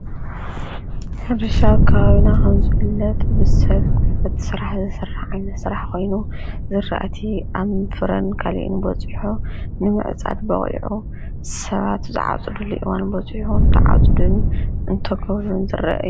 ሕርሻ ኣከባቢና ኸምዘፍለጥ ብሰብ ጕልበት ሠራሕ ዓይነት ሠራሕ ኾይኑ ዝርእቲ ኣምፍረን ከሊእን በፂሖ ንምዕጻድ በውዑ ሰባቱ ዝዓጽዱ ሉይዋን በፂሑን ተዓጽድን እንተጐብሉን ዘረአ።